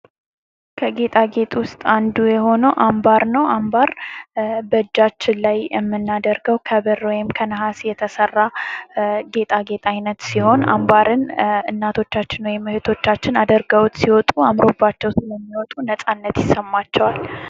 ከጌጣ ጌጥ ውስጥ አንዱ የሆነው አምባር ነው አምባር በእጃችን ላይ የምናደርገው ከብር ወይም ከነሃስ የሚሠራ የጌጣጌጥ አይነት ሲሆን እናቶቻችን ወይም እህቶቻችን አድርገውት ሲወጡ አምሮባቸው ስለሚወጡ ነፃነት ይሰማቸዋል።